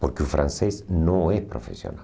Porque o francês não é profissional.